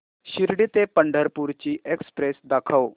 शिर्डी ते पंढरपूर ची एक्स्प्रेस दाखव